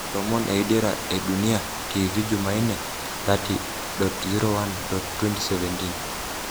Lomon e Dira e Dunia TV jumaine 30.01.2017.